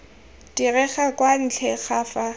direge kwa ntle ga fa